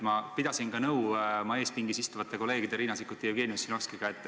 Ma pidasin ka nõu oma ees pingis istuvate kolleegide Riina Sikkuti ja Jevgeni Ossinovskiga.